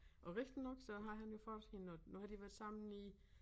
Og rigtig nok så har han jo fået hende og nu har de været sammen i